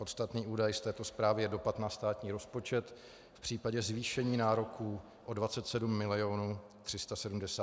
Podstatný údaj z této zprávy je dopad na státní rozpočet v případě zvýšení nároků o 27 milionů 376 tisíc korun ročně.